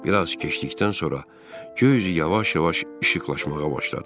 Bir az keçdikdən sonra göy üzü yavaş-yavaş işıqlanmağa başladı.